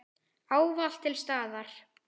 Ávallt til staðar.